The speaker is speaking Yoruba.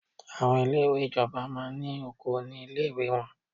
Àwọn ilé ìwé ìjọba máa ní oko ní ilé ìwé wọ́n.